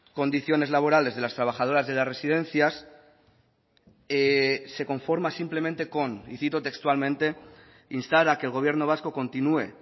condiciones laborales de las trabajadoras de las residencias se conforma simplemente con y cito textualmente instar a que el gobierno vasco continúe